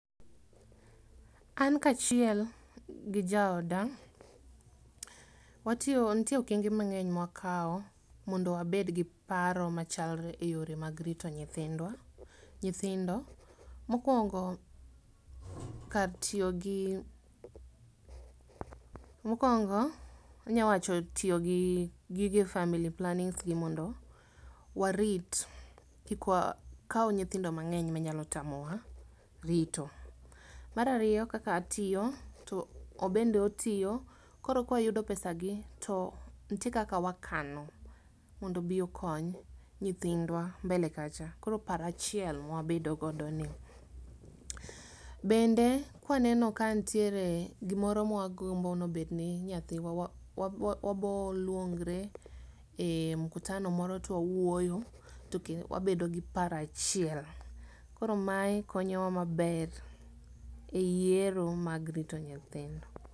An kachiel gi jaoda, watio ntie okenge mang'eny mwakao mondo wabed gi paro machalre e yore mag rito nyithindwa nyithindo, mokwongo, kar tiogi, mokwongo anyawacho tio gi gige family plannings gi mondo warit, kik wakau nyithindo mang'eny manyalo tamowa rito. Marario kaka atiyo to obende otiyo, koro ka wayudo pesagi to ntie kaka wakano mondo obiokony nyithindwa mbele kacha, koro parachiel mawabedo godoni. Bende kwaneno ka ntiere gimoro ma wagombo nobedne nyathiwa wa wa waboluongre e mkutano moro twawuoyo toke wabedo gi parachiel. Koro mae konyowa maber e yiero mag rito nyithindo.